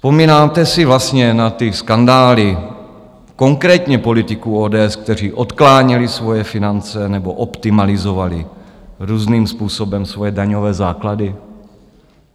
Vzpomínáte si vlastně na ty skandály konkrétně politiků ODS, kteří odkláněli svoje finance nebo optimalizovali různým způsobem svoje daňové základy?